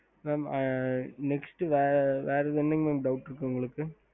ஹம்